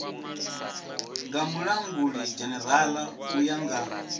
nga mulangulidzhenerala u ya nga